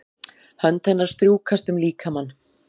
Hönd hennar strjúkast um líkamann.